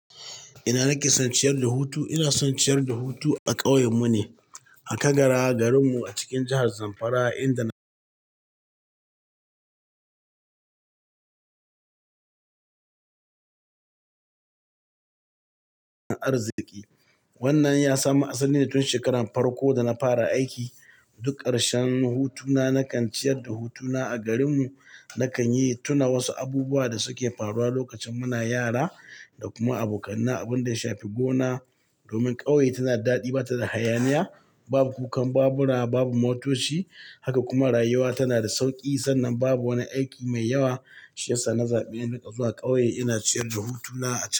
Ina nake son ciyar da hutu? Ina son ciyar da hutu a ƙauyen mu ne, a Kagara, garin mu a cikin jahar Zamfara inda na arziki. Wannan ya samu asali ne tun shekaran farko da na fara aiki. Duk ƙarshen hutuna, na kan ciyar da hutuna a garin mu. Na kan yi tuna wasu abubuwa da suke faruwa lokacin muna yara da kuma abokanai. Abun da ya shafi gona, domin ƙauye tana da daɗi, ba ta da hayaniya, babu kukan babura, babu motoci, haka kuma rayuwa tana da sauƙi. Sannan babu wani aiki mai yawa shiyasa na zaɓi in riƙa zuwa ƙauye ina ciyar da hutuna a cikin.